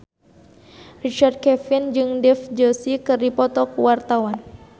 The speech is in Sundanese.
Richard Kevin jeung Dev Joshi keur dipoto ku wartawan